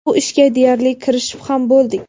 Bu ishga deyarli kirishib ham bo‘ldik.